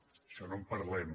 d’això no en parlem